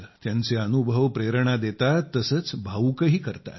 त्यांचे अनुभव प्रेरणा देतात तसंच भावूकही करताहेत